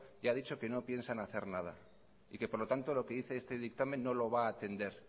ya ha dicho que no piensan hacer nada y que por lo tanto lo que dice este dictamen no lo va a atender